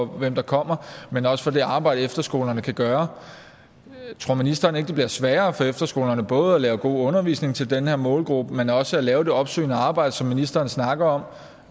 hvem der kommer men også for det arbejde som efterskolerne kan gøre tror ministeren ikke det bliver sværere for efterskolerne både at lave god undervisning til den her målgruppe men også at lave det opsøgende arbejde som ministeren snakker om